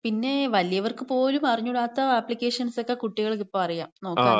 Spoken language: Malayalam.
പിന്നെ വലിയവർക്ക് പോലും അറിഞ്ഞൂടാത്ത അപ്ലിക്കേഷൻസൊക്കെ കുട്ടികൾക്ക് ഇപ്പം അറിയാം. നോക്കാനറിയാം.